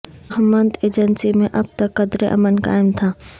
Mohmand agency میں اب تک قدرے امن قائم تھا